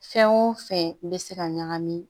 Fɛn o fɛn bɛ se ka ɲagami